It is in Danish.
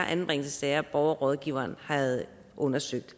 anbringelsessager borgerrådgiveren havde undersøgt